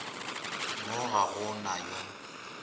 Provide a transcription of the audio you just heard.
mo ga go na yo